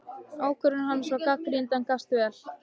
Ákvörðun hans var gagnrýnd, en gafst vel.